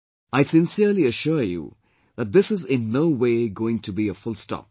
I sincerely assure you that this is in no way going to be a full stop